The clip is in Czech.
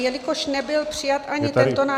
Jelikož nebyl přijat ani tento návrh...